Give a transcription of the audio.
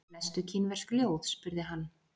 Lestu kínversk ljóð? spurði hann.